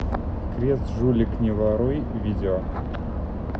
крест жулик не воруй видео